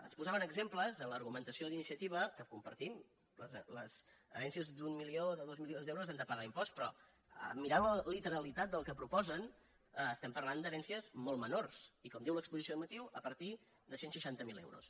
es posaven exemples en l’argumentació d’iniciativa que compartim les herències d’un milió o de dos milions d’euros han de pagar impost però mirant la literalitat del que proposen estem parlant d’herències molt menors i com diu l’exposició de motius a partir de cent i seixanta miler euros